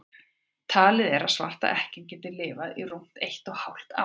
talið er að svarta ekkjan geti lifað í rúmt eitt og hálft ár